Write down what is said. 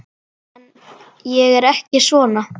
En ég er ekki svona.